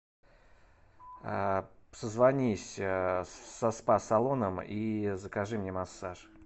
созвонись со спа салоном и закажи мне массаж